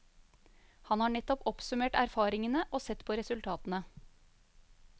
Han har nettopp oppsummert erfaringene og sett på resultatene.